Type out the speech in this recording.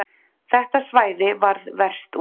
Þetta svæði varð verst úti